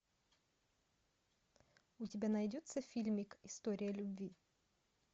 у тебя найдется фильмик история любви